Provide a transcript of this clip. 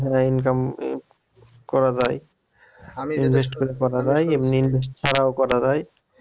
হ্যাঁ income করা যায় invest করে করা যায় এমনি invest ছাড়াও করা যায়